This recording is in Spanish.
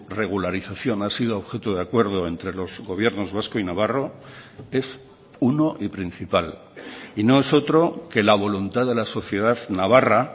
regularización ha sido objeto de acuerdo entre los gobiernos vasco y navarro es uno y principal y no es otro que la voluntad de la sociedad navarra